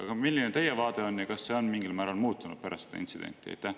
Aga milline teie vaade on ja kas see on mingil määral muutunud pärast seda intsidenti?